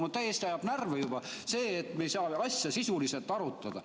Mind ajab juba täiesti närvi see, et me ei saa asja sisuliselt arutada.